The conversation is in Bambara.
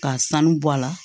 K'a sanu bɔ a la